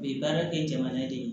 U bɛ baara kɛ jamana de ye